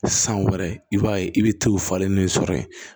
San wɛrɛ i b'a ye i bɛ t'o falen nin sɔrɔ yen